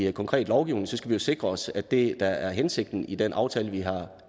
i konkret lovgivning skal vi jo sikre os at det der er hensigten i den aftale vi har